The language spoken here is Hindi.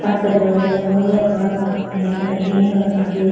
कांच का दरवाजा लगा हुआ है एक औरत नक़ाब पहने जा रही हैं और आदमी --